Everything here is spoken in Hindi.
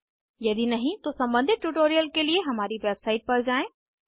यदि नहीं तो सम्बंधित ट्यूटोरियल के लिए हमारी वेबसाइट पर जाएँ